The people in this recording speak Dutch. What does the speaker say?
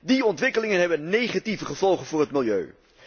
Die ontwikkelingen hebben negatieve gevolgen voor het milieu.